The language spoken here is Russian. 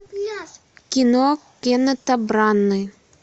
кино кеннета браны